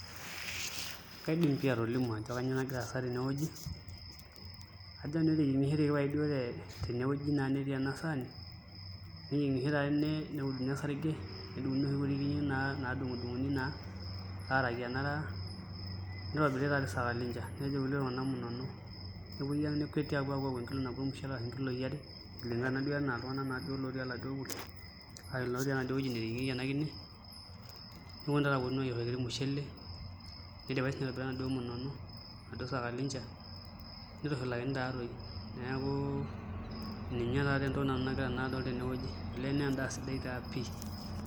Kaidim pii atolimu ajo kainyioo nagira aasa tenewueji ajo keteyieng'oshoteki tenewueji netii ena saani neyieng'ishoi taa neuduni osarge nedung'uni inoshi kiri naadung'udung'uni naa aaraki enaraa nitobiri taatoi sakalinja nejo kulie tung'anak munono nepuoi nekweti aayua enkilo nabo ormushele ashu nkiloi are kuligana naaduo enaa iltung'anak oetuo enaduo wueji neteyeing'ieki enaduo kine neponunui taa aayierr oladuo mushele nidipaki siinye aayau enaduo munono enaduoo sakalinja nitushulakini taatoi neeku ninye taatoi entoki nanu nagira naa adol tenewueji olee naa endaa sidai taa pii.